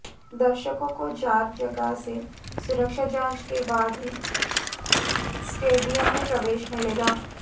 दर्शकों को चार जगह से सुरक्षा जांच के बाद ही स्टेडियम में प्रवेश मिलेगा